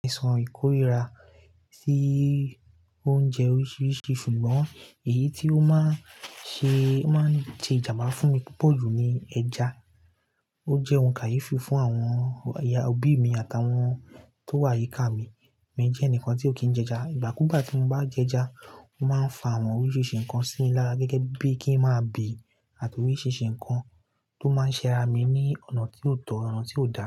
Mo lè san ìkórìíra sí oúnjẹ oríṣiríṣi, ṣùgbọ́n èyí tí ó máa ń ṣe, máa ń ti ìjà máa fún mi púpọ̀ jù ni ẹja. Ó jẹ́ ohun káyífi fún àwọn ọ̀ya òbí mi àtàwọn tó wà yíká mi. Mi jẹ́ ẹnìkan tí ó kì í jẹ ẹja, ìgbàkúgbà tí mo bá jẹ ẹja, ó máa ń fa àwọn oríṣiríṣi nǹkan sí mi lára gẹ́gẹ́ bí kí n máa bì àti oríṣiríṣi nǹkan tó máa ń ṣẹra mi ní ọ̀nà tí yóò tọ̀ ọ̀nà tí yóò dára.